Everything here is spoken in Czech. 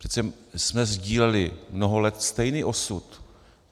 Přece jsme sdíleli mnoho let stejný osud.